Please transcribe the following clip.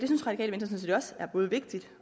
synes radikale venstre også er både vigtigt